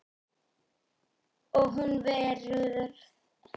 Og hún verður aftur ein.